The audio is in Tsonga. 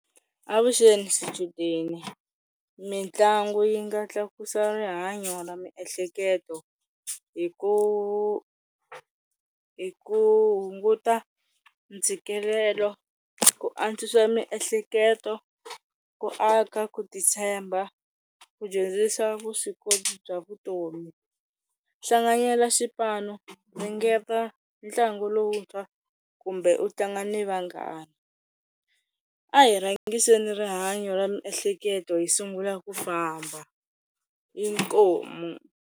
Avuxeni swichudeni, mitlangu yi nga tlakusa rihanyo ra miehleketo hi ku hi ku hunguta ntshikelelo, ku antswisa miehleketo, ku aka ku titshemba, ku dyondzisa vuswikoti bya vutomi. Hlanganyela swipano, ringeta ntlangu lowuntshwa kumbe u tlanga ni vanghana. A hi rhangiseni rihanyo ra miehleketo hi sungula ku famba, inkomu.